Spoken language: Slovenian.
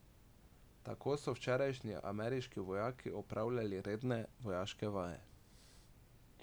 Tako so včeraj ameriški vojaki opravljali redne vojaške vaje.